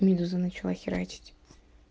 медуза начало херачить